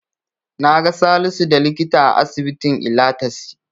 Naga Salisu da likita a asibitin Ilatasi.